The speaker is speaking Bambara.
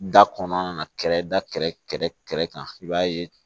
Da kɔnɔna na kɛrɛda kan i b'a ye